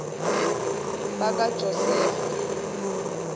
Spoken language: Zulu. bakwajosefa